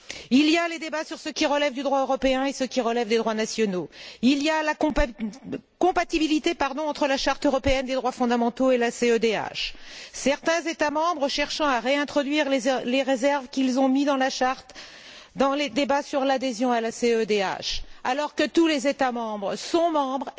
Il y a les débats sur ce qui relève du droit européen et ce qui relève des droits nationaux et il y a la question de la compatibilité entre la Charte européenne des droits fondamentaux et la CEDH, certains États membres cherchant à réintroduire les réserves qu'ils ont mises dans la Charte dans les débats sur l'adhésion à la CEDH, alors que tous les États membres sont parties